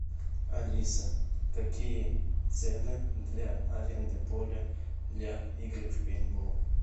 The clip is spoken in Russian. алиса какие цены для аренды поля для игры в пейнтбол